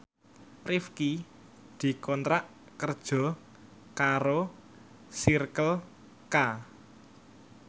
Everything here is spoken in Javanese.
Rifqi dikontrak kerja karo Circle K